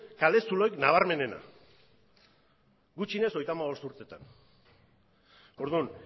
kale zulorik nabarmenena gutxienez hogeita hamabost urteetan orduan